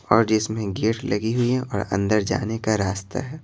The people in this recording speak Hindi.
और जिसमें गेट लगी हुई है और अंदर जाने का रास्ता है।